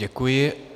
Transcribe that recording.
Děkuji.